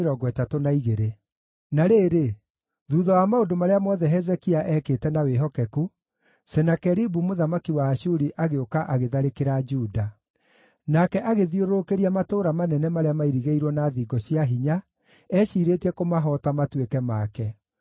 Na rĩrĩ, thuutha wa maũndũ marĩa mothe Hezekia ekĩte na wĩhokeku, Senakeribu mũthamaki wa Ashuri agĩũka agĩtharĩkĩra Juda. Nake agĩthiũrũrũkĩria matũũra manene marĩa mairigĩirwo na thingo cia hinya eeciirĩtie kũmahoota matuĩke make.